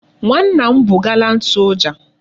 Nwa nna m bu gallant soja